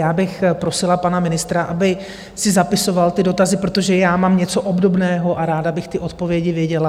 Já bych prosila pana ministra, aby si zapisoval ty dotazy, protože já mám něco obdobného a ráda bych ty odpovědi věděla.